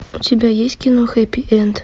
у тебя есть кино хэппи энд